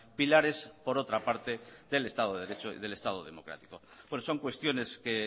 pilares por otra parte del estado de derecho y del estado democrático bueno son cuestiones que